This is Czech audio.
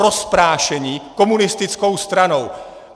Rozprášení komunistickou stranou.